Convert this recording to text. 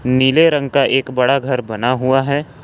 नीले रंग का एक बड़ा घर बना हुआ है।